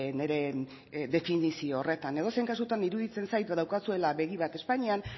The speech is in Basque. nire definizio horretan edozein kasutan iruditzen zait daukazuela begi bat espainian